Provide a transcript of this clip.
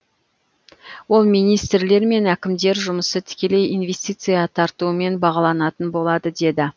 ол министрлер мен әкімдер жұмысы тікелей инвестиция тартуымен бағаланатын болады деді